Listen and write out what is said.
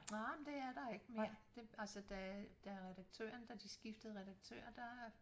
Nej men det er der ikke mere det altså da da redaktøren da de skiftede redaktør der